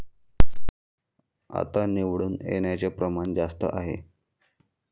आता निवडून येण्याचं प्रमाण जास्त आहे.